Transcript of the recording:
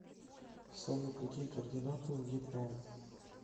салют какие координаты у вьетнам